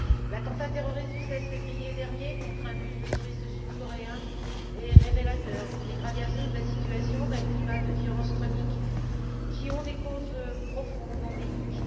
L'attentat terroriste du 16février dernier contre un bus de touristes sud coréens est révélateur d'une dégradation de la situation et d'un climat de violences chroniques, qui ont des causes profondes et endémiques.